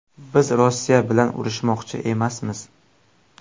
Biz Rossiya bilan urushmoqchi emasmiz”.